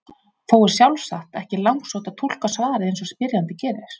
Þó er sjálfsagt ekki langsótt að túlka svarið eins og spyrjandi gerir.